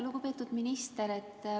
Lugupeetud minister!